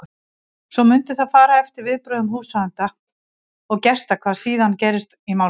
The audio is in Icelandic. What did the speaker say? Svo mundi það fara eftir viðbrögðum húsráðenda og gesta hvað síðan gerist í málinu.